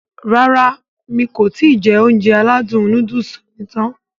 Rárá mi kò ti jẹ Ounjẹ aládùn nóódùsì mi tán